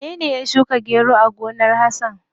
Wanene ya shuka gero a gonar Hasan?